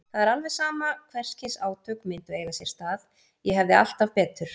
Það var alveg sama hvers kyns átök myndu eiga sér stað, ég hefði alltaf betur.